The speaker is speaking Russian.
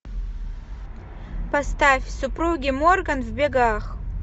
поставь супруги морган в бегах